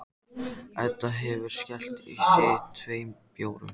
Edda hefur skellt í sig tveim bjórum.